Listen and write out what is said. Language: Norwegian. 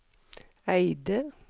Eide